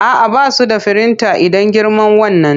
A'a, ba su da firinta idan girman wannan.